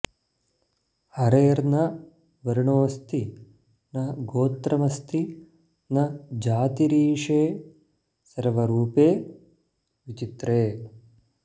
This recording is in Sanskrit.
हरेर्न वर्णोस्ति न गोत्रमस्ति न जातिरीशे सर्वरूपे विचित्रे